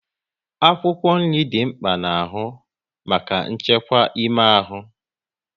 Akwụkwọ nri dị mkpa n'ahụ maka nchekwa ime ahụ